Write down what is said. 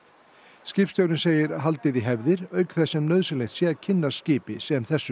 skipstjórinn segir haldið í hefðir auk þess sem nauðsynlegt sé að kynnast skipi sem þessu